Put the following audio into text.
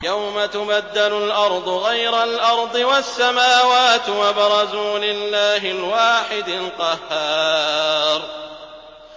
يَوْمَ تُبَدَّلُ الْأَرْضُ غَيْرَ الْأَرْضِ وَالسَّمَاوَاتُ ۖ وَبَرَزُوا لِلَّهِ الْوَاحِدِ الْقَهَّارِ